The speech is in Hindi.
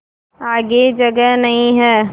आगे जगह नहीं हैं